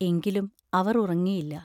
എങ്കിലും അവർ ഉറങ്ങിയില്ല.